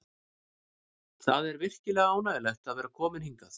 Það er virkilega ánægjulegt að vera kominn hingað.